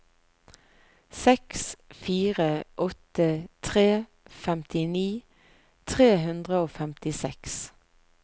seks fire åtte tre femtini tre hundre og femtiseks